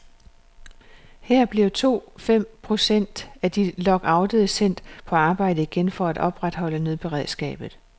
Her blev to fem procent af de lockoutede sendt på arbejde igen for at opretholde nødberedskabet.